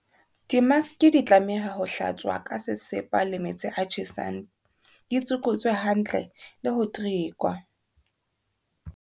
Dimaske di tlameha ho hlatswa ka sesepa le metsi a tjhesang, di tsokotswe hantle le ho terekwa.